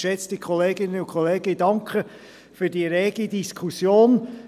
Geschätzte Kolleginnen und Kollegen, ich danke für die rege Diskussion.